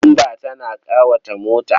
Bamba tana ƙawata mota.